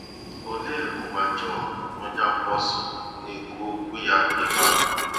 Olee ụwa Jọn onye apọsụlụ na - ekwu okwu ya n’ebe a?